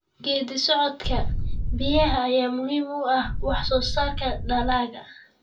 Geedi socodka biyaha ayaa muhiim u ah wax soo saarka dalagga.